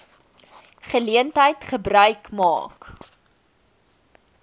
geleentheid gebruik maak